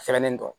Sɛmɛni tɔ